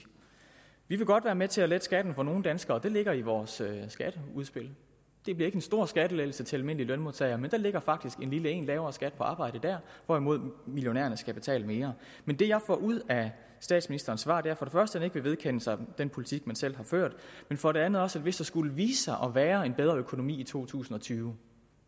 vi vil godt være med til at lette skatten for nogle danskere det ligger i vores skatteudspil det bliver ikke en stor skattelettelse til almindelige lønmodtagere men der ligger faktisk en lille en nemlig lavere skat på arbejde dér hvorimod millionærerne skal betale mere men det jeg får ud af statsministerens svar er for det første at han ikke vil vedkende sig den politik han selv har ført men for det andet også at hvis der skulle vise sig at være en bedre økonomi i to tusind og tyve